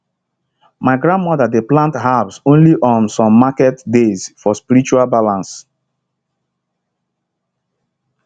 my grandmother dey plant herbs only on some market days for spiritual balance